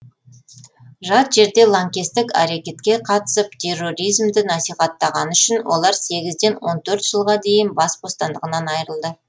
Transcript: жат жерде лаңкестік әрекетке қатысып терроризмді насихаттағаны үшін олар сегізден он төрт жылға дейін бас бостандығынан айырылды